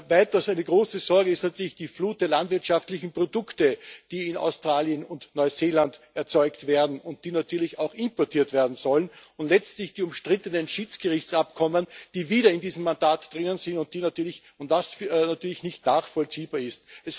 Weiters Eine große Sorge ist natürlich die Flut der landwirtschaftlichen Produkte, die in Australien und Neuseeland erzeugt werden und die natürlich auch importiert werden sollen, und schließlich die umstrittenen Schiedsgerichtsabkommen, die wieder in diesem Mandat drinnen sind, was natürlich nicht nachvollziehbar ist.